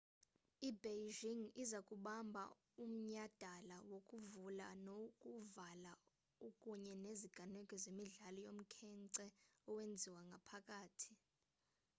i-beijing iza kubamba umnyhadala wokuvula nowokuvala kunye neziganeko zemidlalo yomkhence owenziwe ngaphakathi